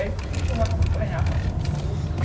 é que eu acompanhava tudo.